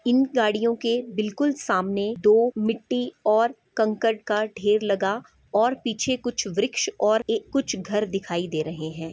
इन गाड़ियों के बिल्कुल सामने दो मिट्टी और कंकड़ का ढेर लगा और पीछे कुछ वृक्ष और ए कुछ घर दिखाई दे रहे है ।